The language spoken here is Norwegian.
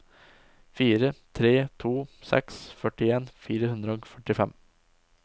fire tre to seks førtien fire hundre og førtifem